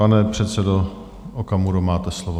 Pane předsedo Okamuro, máte slovo.